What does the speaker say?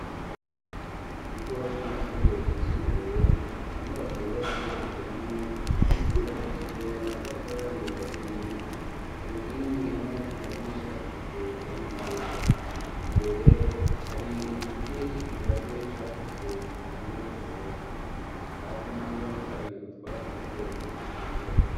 Mu kigo c'amashure yisumbuye inyubako yubatse igeretse rimwe yubakishije matafari ahiye ku nkingi hamwe no ku madirisha hasize irangi ryera, imbere hari ibiti c'ikigazi cakuze gitanga umuyaga hasi naho hari utwatsi duto duto tugikura.